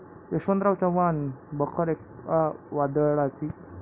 यशवंतराव चव्हाण बखर एका वादळाची'